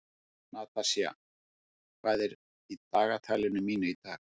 Natasja, hvað er í dagatalinu mínu í dag?